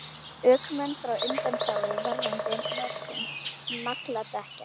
Ökumenn fá undanþágu varðandi notkun nagladekkja